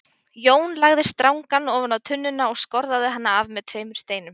Jón lagði strangann ofan á tunnuna og skorðaði hann af með tveimur steinum.